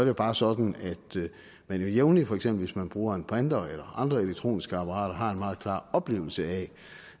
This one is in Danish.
jo bare sådan at man jævnligt for eksempel hvis man bruger en printer eller andre elektroniske apparater har en meget klar oplevelse af